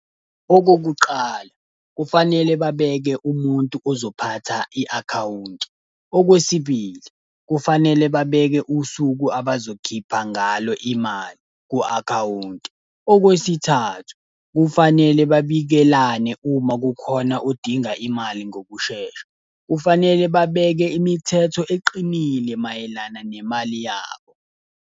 Okokuqala, kufanele babeke umuntu ozophatha i-akhawunti. Okwesibili, kufanele babeke usuku abazokhipha ngalo imali ku-akhawunti. Okwesithathu, kufanele babikelane uma kukhona odinga imali ngokushesha. Kufanele babeke imithetho eqinile mayelana nemali yabo.